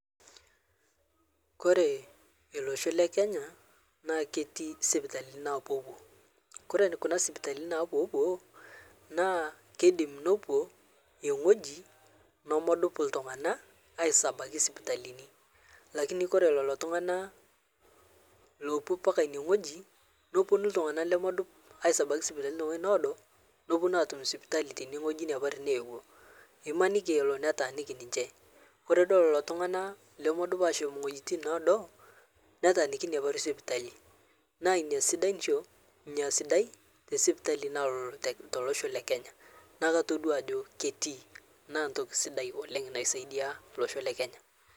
Ore olosho le Kenya naa ketii isipitalini naapuopuo. Ore kuna sipitalini, naa keidim nepuo ewueji nemedup iltunganak aatabaiki isipitalini kake ore lelo tunganak loopuo mpaka ine wueji nepuonu iltunganak lemedup aatabaiki isipitalini te wueji needo nepuonu abaiki sipitalini teine wueji naetuo. Imaniki netaaniki ninche ore pee idol lelo tunganak lemedup aashom nene wuetin needo netaaniki ina parri sipitali naa ina esidai te sipitali naloolo tolosho le Kenya naa aisidai oleng.